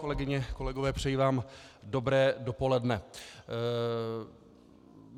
Kolegyně, kolegové, přeji vám dobré dopoledne.